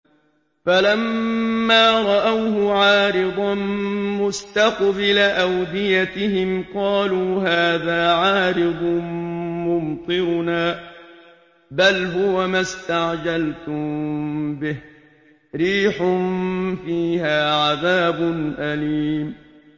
فَلَمَّا رَأَوْهُ عَارِضًا مُّسْتَقْبِلَ أَوْدِيَتِهِمْ قَالُوا هَٰذَا عَارِضٌ مُّمْطِرُنَا ۚ بَلْ هُوَ مَا اسْتَعْجَلْتُم بِهِ ۖ رِيحٌ فِيهَا عَذَابٌ أَلِيمٌ